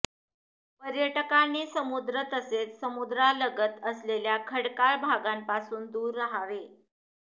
पर्यटकांनी समुद्र तसेच समुद्रालगत असलेल्या खडकाळ भागांपासून दूर रहावे